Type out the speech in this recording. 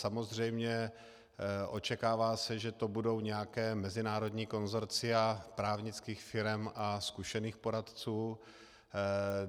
Samozřejmě očekává se, že to budou nějaká mezinárodní konsorcia právnických firem a zkušených poradců.